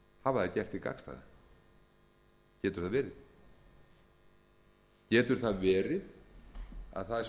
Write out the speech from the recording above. hafa þeir gert hið gagnstæða getur það verið getur það verið að